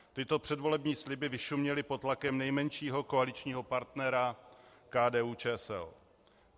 Tyto předvolební sliby vyšuměly pod tlakem nejmenšího koaličního partnera KDU-ČSL.